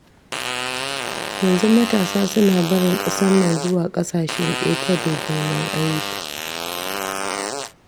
Yanzu matasa suna barin ƙasar nan zuwa ƙasashen ƙetare neman aiki.